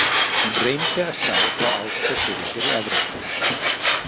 Hún reyndi að sjá þá Ásgeir fyrir sér í Evrópuferð.